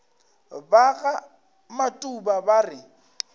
ba ga matuba ba re